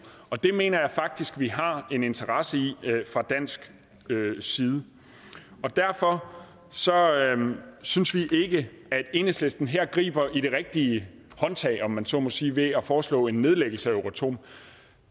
og det mener jeg faktisk vi har en interesse i fra dansk side derfor synes vi ikke at enhedslisten her griber i det rigtige håndtag om man så må sige ved at foreslå en nedlæggelse af euratom